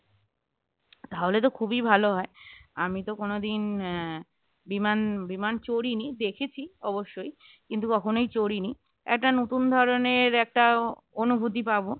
তাহলে তো খুবই ভালো হয় আমি তো কোনদিন আহ বিমান বিমান চড়িনি দেখেছি অবশ্যই কিন্তু কখনোই চড়িনি। একটা নতুন ধরনের একটা অনুভূতি পাব